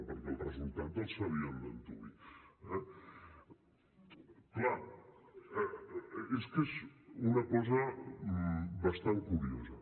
perquè el resultat el sabien d’antuvi eh clar és que és una cosa bastant curiosa